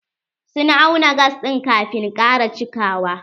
Sun auna gas ɗin kafin ƙara cikawa.